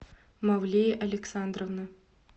мавлея александровна